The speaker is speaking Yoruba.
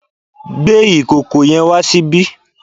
Gbé ìkòkò yẹn wá ṣíbí!